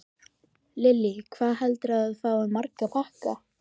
Lillý: Hvað heldurðu að þú fáir marga pakka?